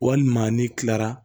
Walima ni kilara